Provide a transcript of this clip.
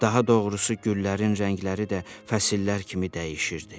Daha doğrusu güllərin rəngləri də fəsillər kimi dəyişirdi.